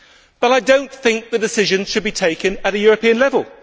But I do not think the decision should be taken at European level.